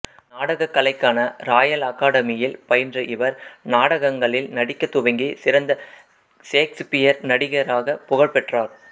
நாடகக் கலைக்கான ராயல்அகாதமியில் பயின்ற இவர் நாடகங்களில் நடிக்கத் துவங்கி சிறந்த சேக்சுபீரிய நடிகராக புகழ் பெற்றார்